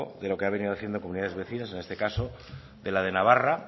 de lo que han venido haciendo comunidades vecinas en este caso de la de navarra